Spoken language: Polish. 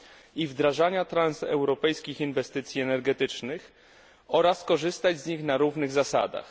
i wdrażania transeuropejskich inwestycji energetycznych oraz korzystać z nich na równych zasadach.